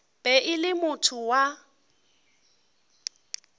be e le motho wa